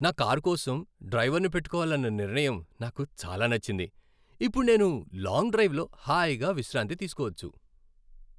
నా కారు కోసం డ్రైవర్నుపెట్టుకోవాలన్న నిర్ణయం నాకు చాలా నచ్చింది, ఇప్పుడు నేను లాంగ్ డ్రైవ్ లో హాయిగా విశ్రాంతి తీసుకోవచ్చు.